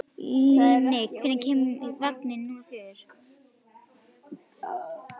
Líni, hvenær kemur vagn númer fjögur?